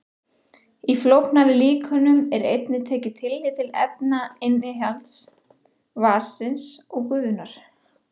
Í flóknari líkönum er einnig tekið tillit til efnainnihalds vatnsins og gufunnar.